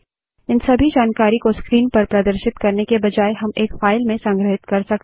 इन सभी जानकारी को स्क्रीन पर प्रदर्शित करने के बजाय हम एक फाइल में संग्रहित कर सकते हैं